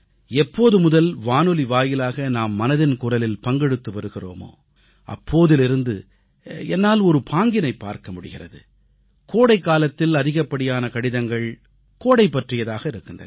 எப்போதுமுதல் வானொலி வாயிலாக நாம் மனதின் குரலில் பங்கெடுத்து வருகிறோமோ அப்போதிலிருந்து என்னால் ஒரு பாங்கினைப் பார்க்க முடிகிறது கோடைக்காலத்தில் அதிகப்படியான கடிதங்கள் கோடை பற்றியதாக இருக்கின்றன